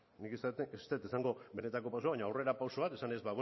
nik ez dut esango benetako pausua baina aurre pausu bat esanez